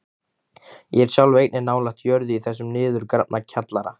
Ég sjálf er einnig nálægt jörðu í þessum niðurgrafna kjallara.